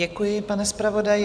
Děkuji, pane zpravodaji.